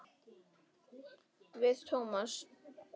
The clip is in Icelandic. Við Tómas.